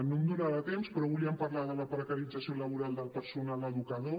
no em donarà el temps però volíem parlar de la precarització laboral del personal educador